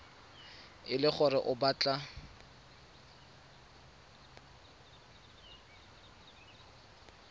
e le gore o batla